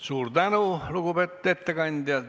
Suur tänu, lugupeetud ettekandja!